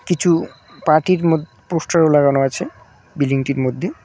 কিছু পার্টির ম পোস্টারও লাগানো আছে বিল্ডিংটির মধ্যে।